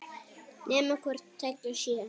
Nema hvort tveggja sé.